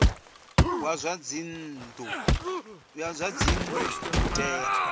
wa zwa dzinnu u tea